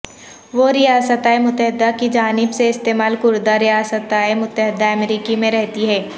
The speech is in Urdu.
وہ ریاستہائے متحدہ کی جانب سے استعمال کردہ ریاستہائے متحدہ امریکہ میں رہتی ہیں